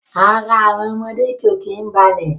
Ara àwọn ọmọdé ó kín balẹ̀